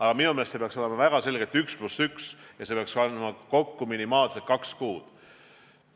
Aga minu meelest see peaks olema väga selgelt 1 + 1, mis annab kokku minimaalselt kaks kuud.